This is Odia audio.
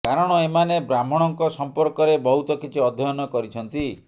କାରଣ ଏମାନେ ବ୍ରାହ୍ମଣଙ୍କ ସଂପର୍କରେ ବହୁତ କିଛି ଅଧ୍ୟୟନ କରିଛନ୍ତି